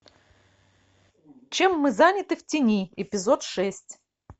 чем мы заняты в тени эпизод шесть